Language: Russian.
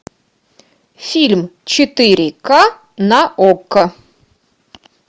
фильм четыре ка на окко